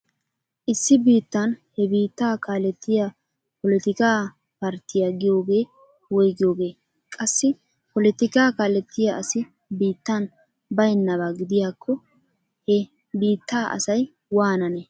Issi biittan he biittaa kaalettiya polotikaa parttiya giyogee woygiyogee? Qassi polotikaa kaalettiya asi biittan baynnaba gidiyakko he biittaa asay waanane?